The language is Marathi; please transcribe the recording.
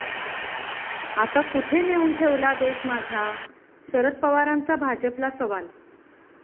आता, कुठे नेऊन ठेवला देश माझा?, शरद पवारांचा भाजपला सवाल